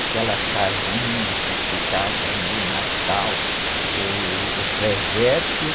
Aquela casinha que ficava no Natal, uh, o presépio.